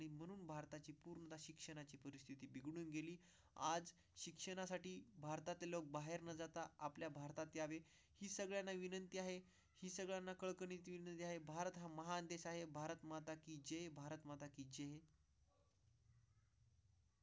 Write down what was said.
आज शिक्षणासाठी भारतातील लोक बाहेर न जाता आपल्या भारतात या सगळ्यांना विनंती आहे. सगळ्यांना कळले आहे. भारत हा महान देश आहे. भारत माता की जे भारत.